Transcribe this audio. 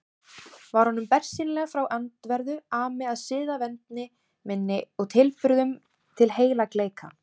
Var honum bersýnilega frá öndverðu ami að siðavendni minni og tilburðum til heilagleika.